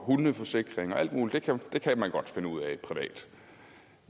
hundeforsikring og alt muligt det kan man godt finde ud af privat